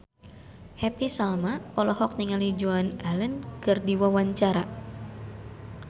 Happy Salma olohok ningali Joan Allen keur diwawancara